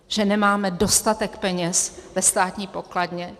Že nemáme dostatek peněz ve státní pokladně?